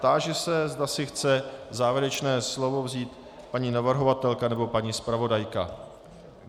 Táži se, zda si chce závěrečné slovo vzít paní navrhovatelka nebo paní zpravodajka.